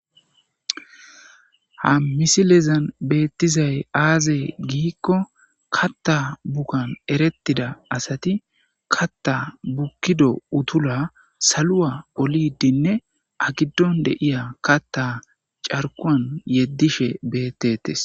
Haa missilezanni betizayi azee gikko ,kaata bukanni eretizo asati kata bukido utulla saluwa olidinne aa giduwanni betiya kata caarikuwanni yedoshshe betetes.